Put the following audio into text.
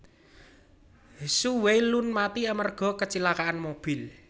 Hsu Wei Lun mati amarga kacilakaan mobil